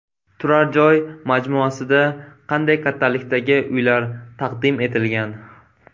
Turar joy majmuasida qanday kattalikdagi uylar taqdim etilgan?